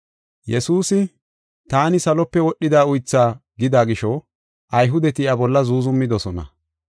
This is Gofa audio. Yesuusi, “Taani salope wodhida uythaa” gida gisho, Ayhudeti iya bolla zuuzumidosona.